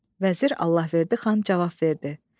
Vəzir Allahverdi xan cavab verdi.